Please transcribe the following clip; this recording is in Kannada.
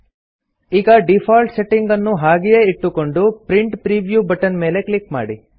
ಈಗ ಡೀಫಾಲ್ಟ್ ಸೆಟ್ಟಿಂಗ್ ಅನ್ನು ಹಾಗೆಯೇ ಇಟ್ಟುಕೊಂಡು ಪ್ರಿಂಟ್ ಪ್ರಿವ್ಯೂ ಬಟನ್ ಮೇಲೆ ಕ್ಲಿಕ್ ಮಾಡಿ